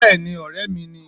Béèni ọ̀rẹ́ mi ni